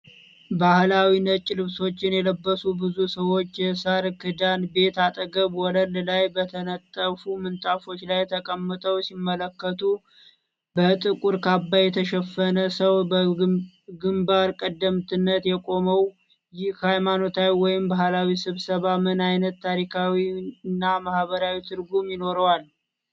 ባህላዊ ነጭ ልብሶችን የለበሱ ብዙ ሰዎች የሳር ክዳን ቤት አጠገብ ወለል ላይ በተነጠፉ ምንጣፎች ላይ ተቀምጠው ሲመለከቱ፣ በጥቁር ካባ የተሸፈነ ሰው በግምባር ቀደምትነት የቆመው፣ ይህ ሃይማኖታዊ ወይም ባህላዊ ስብሰባ ምን አይነት ታሪካዊና ማህበራዊ ትርጉም ይኖረዋል?